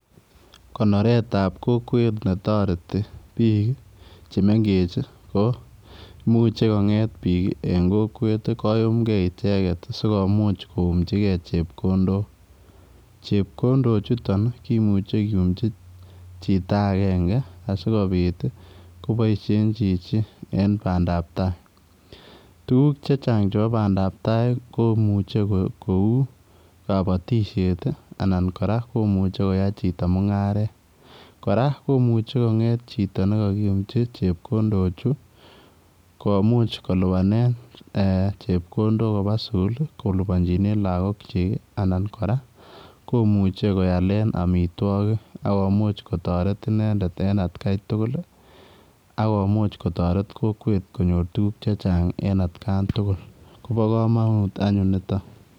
Konereet ab kokwet be taretii biik che mengeech ii ko kongeet biik en kokwet ii koyumgei ichegeet sikomuuch koumjigei chepkondook, chepkondook chutoon ii kimuchei kiyumchi chito agenge asikobiit ii kobaisheen chichi en bandap ab tai , tuguuk che chaang chebo bandaap tai komuchei koui kabatisyeet ii anan kora komuchei koyai chitoo mungaret kora komuchei koyai chitoo nekakiyumjii chepkondook chutoon chuu komuuch kolupanen chepkondook kobaa sugul ii kolupanjinen lagook kyiik ii anan kora komuchei koyaleen amitwagiik akomuuch kotaret inendet en at gai tugul akomuuch kotaret kokwet konyoor tuguuk che chaang en at kaan tugul koba kamanut anyuun nito.